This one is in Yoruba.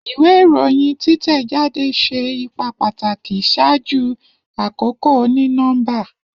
Iwe iroyin titẹjade ṣe ipa pataki ṣaaju akoko oni-nọmba.